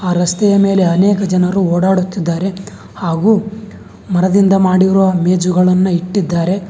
ಆ ರಸ್ತೆಯ ಮೇಲೆ ಅನೇಕ ಜನರು ಓಡಾಡುತ್ತಿದ್ದಾರೆ ಹಾಗು ಮರದಿಂದ ಮಾಡಿರುವ ಮೇಜುಗಳನ್ನು ಇಟ್ಟಿದ್ದಾರೆ.